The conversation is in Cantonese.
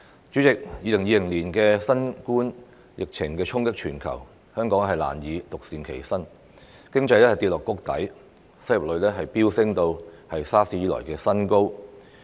主席 ，2020 年的新冠疫情衝擊全球，香港難以獨善其身，經濟跌至谷底，失業率飆升至 SARS 以來的新高。